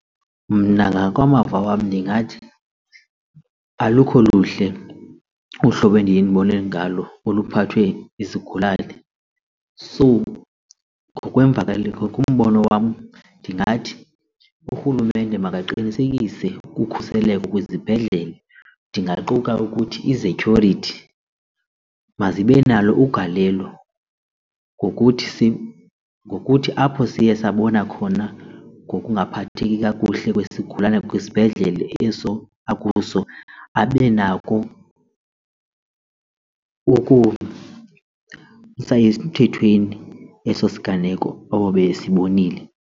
Mna ngakwamava wam ndingathi alukho luhle uhlobo endiyendibone ngalo oluphathwe izigulane. So ngokweemvakalelo kumbono wam ndingathi urhulumente makaqinisekise ukhuseleko kwizibhedlele ndingaquka ukuthi izetyhurithi mazibe nalo ugalelo ngokuthi ngokuthi apho siye sabona khona nokungaphatheki kakuhle kwesigulana kwisibhedlele eso akuso abe nako ukusa emthethweni eso siganeko ababesibonile.